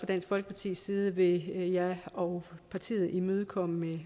dansk folkepartis side vil jeg og partiet imødekomme